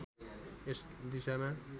यस दिशामा